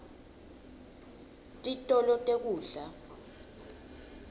titolo tekudla